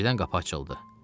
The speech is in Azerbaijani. Birdən qapı açıldı.